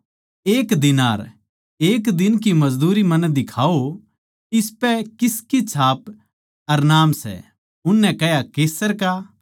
एक दीनार एक दिन की मजदूरी मन्नै दिखाओ इसपै किसकी छाप अर नाम सै उननै कह्या कैसर का